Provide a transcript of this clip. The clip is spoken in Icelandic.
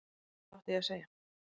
Hvað átti ég að segja?